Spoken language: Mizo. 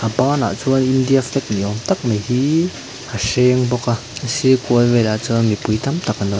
banah chuan in india flag ni awm tak mai hii a hreng bawk a a sir kual velah chuan mipui tam tak an lo--